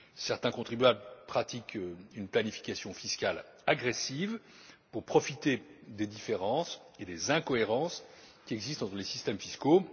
Certains contribuables pratiquent une planification fiscale agressive pour profiter des différences et des incohérences qui existent entre les systèmes fiscaux.